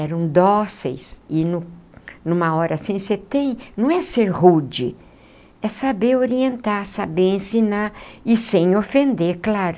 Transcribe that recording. Eram dóceis e nu numa hora assim você tem... não é ser rude, é saber orientar, saber ensinar e sem ofender, claro.